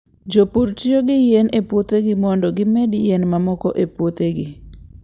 Jopur tiyo gi yien e puothegi mondo gimed yien mamoko e puothegi.